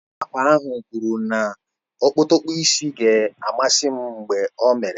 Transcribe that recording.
Onye na-akpa ahụ kwuru na okpotokpo isi ga-amasị m mgbe ọ mere ya